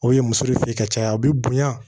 O ye muso fe ye ka caya a be bonya